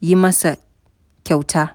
yi masa kyauta.